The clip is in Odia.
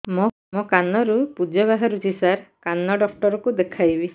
ମୋ କାନରୁ ପୁଜ ବାହାରୁଛି ସାର କାନ ଡକ୍ଟର କୁ ଦେଖାଇବି